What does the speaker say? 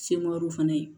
fana ye